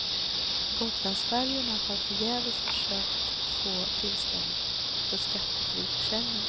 Gotlandsfärjorna har förgäves försökt få tillstånd för skattefri försäljning.